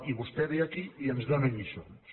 i vostè ve aquí i ens dóna lliçons